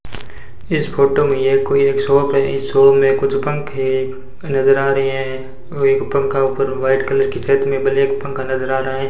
इस फोटो में ये कोई एक शॉप है इस शॉप में कुछ पंखे नजर आ रहे हैं और एक पंखा ऊपर व्हाइट कलर की छत में ब्लैक पंखा नजर आ रहा है।